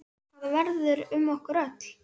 Hvað verður um okkur öll?